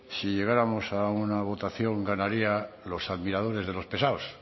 si llegáramos a una votación ganarían los admiradores de los pesados